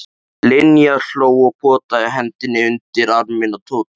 Linja hló og potaði hendinni undir arminn á Tóta.